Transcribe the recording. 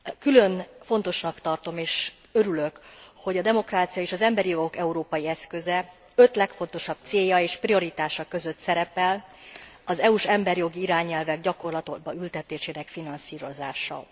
Külön fontosnak tartom és örülök, hogy a demokrácia és az emberi jogok európai eszköze öt legfontosabb célja és prioritása között szerepel az EU s emberi jogi irányelvek gyakorlatba ültetésének finanszírozása.